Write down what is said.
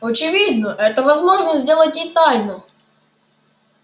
очевидно это возможно сделать и тайно